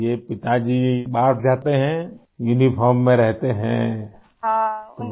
तो यह पिताजी बाहर जाते हैं यूनिफॉर्म में रहते हैं आई